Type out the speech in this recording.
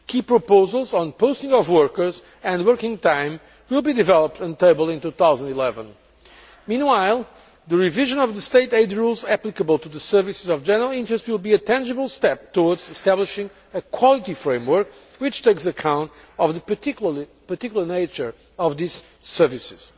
Key proposals on posting of workers and working time will be developed and tabled in 2011. Meanwhile, the revision of the State aid rules applicable to services of general interest will be a tangible step towards establishing a quality framework which takes account of the particular nature of these services.